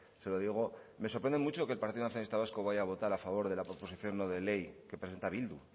se lo digo me sorprende mucho que el partido nacionalista vasco vaya a votar a favor de la proposición no de ley que presenta bildu